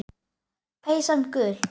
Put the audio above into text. Peysan gul.